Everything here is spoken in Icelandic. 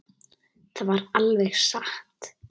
Það var alveg satt.